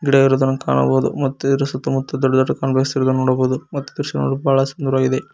ಗಿಡ ಇರುವುದನ್ನು ಕಾಣಬಹುದು ಮತ್ತು ಇದರ ಸುತ್ತಮುತ್ತ ದೊಡ್ಡದಾದ ಕಾಂಗ್ರೆಸ್ ಗಿಡಗಳನ್ನು ನೋಡಬಹುದು ಮತ್ತು ಈ ದೃಶ್ಯ ನೋಡಲಿ ಬಹಳ ಸುಂದರವಾಗಿದೆ.